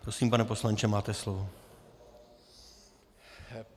Prosím, pane poslanče, máte slovo.